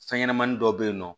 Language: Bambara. Fɛn ɲɛnɛmani dɔ bɛ yen nɔ